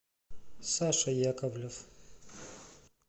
саша яковлев